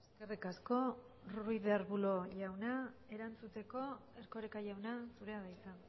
eskerrik asko ruiz de arbulo jauna erantzuteko erkoreka jauna zurea da hitza